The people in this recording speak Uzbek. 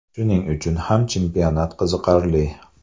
Shuning uchun ham chempionat qiziqarli.